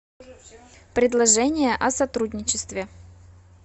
предложение о сотрудничестве